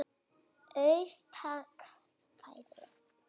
Auð atkvæði